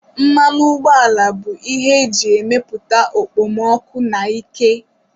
Mmanụ ụgbọala bụ ihe e ji emepụta okpomọkụ na ike